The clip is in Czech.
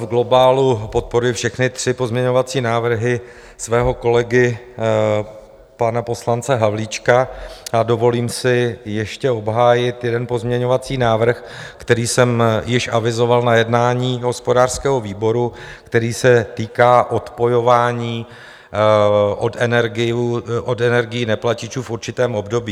V globálu podporuji všechny tři pozměňovací návrhy svého kolegy pana poslance Havlíčka a dovolím si ještě obhájit jeden pozměňovací návrh, který jsem již avizoval na jednání hospodářského výboru, který se týká odpojování od energií neplatičů v určitém období.